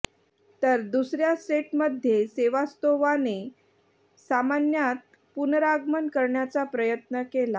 तर दुसऱ्या सेटमध्ये सेवास्तोव्हाने सामन्यात पुनरागमन करण्याचा प्रयत्न केला